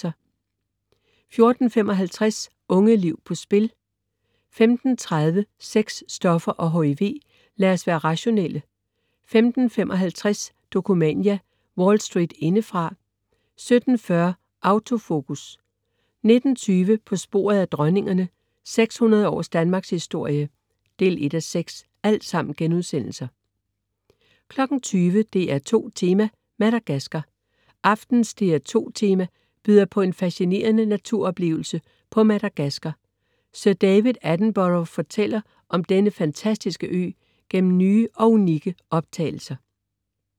14.55 Unge liv på spil* 15.30 Sex, Stoffer og HIV ... lad os være rationelle* 15.55 Dokumania: Wall Street indefra* 17.40 Auto Focus* 19.20 På sporet af dronningerne, 600 års Danmarkshistorie 1:6* 20.00 DR2 Tema: Madagaskar. Aftenens DR2 Tema byder på en fascinerende naturoplevelse på Madagaskar. Sir David Attenborough fortæller om denne fantastiske ø gennem nye og unikke optagelser